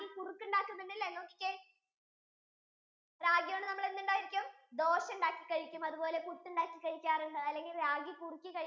കുറുക്കുണ്ടാക്കും അല്ലെ നോക്കിക്കേ ragi കൊണ്ട് നമ്മൾ എന്തുണ്ടാക്കും dosa ഉണ്ടാക്കി കഴിക്കും അതുപോലെ പുട്ടുണ്ടാക്കി കഴിക്കും അല്ലെ ragi കുറുക്കി കഴിക്കും